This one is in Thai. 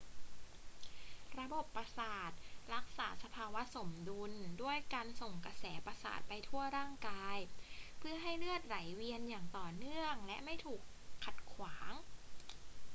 ระบบประสาทรักษาสภาวะสมดุลด้วยการส่งกระแสประสาทไปทั่วร่างกาย เพื่อให้เลือดไหลเวียนอย่างต่อเนื่องและไม่ถูกขัดขวาง